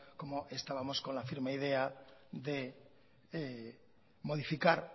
como estábamos con la firme idea de modificar